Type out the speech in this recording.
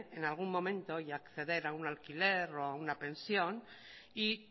en algún momento y acceder a un alquiler o a una pensión y